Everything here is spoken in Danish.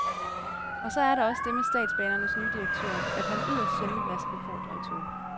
Og så er der også det med statsbanernes nye direktør, at han yderst sjældent lader sig befordre i tog.